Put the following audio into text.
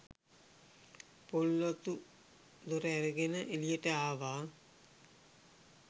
පොල් අතු දොර ඇරගෙන එළියට ආවා.